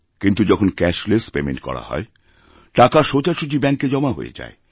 কিন্তু যখনক্যাশলেস পেমেন্ট করা হচ্ছে টাকা সোজাসুজি ব্যাঙ্কে জমা হয়ে যায়